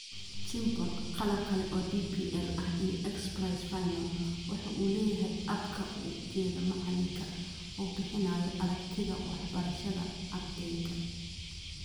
Chimple (qalab kale oo DPL ah iyo X-Prize final), waxa uu leeyahay abka u jeeda macalinka oo bixinaya aragtida waxbarashada ardayga.